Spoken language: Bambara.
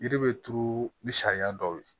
Yiri bɛ turu ni sariya dɔw ye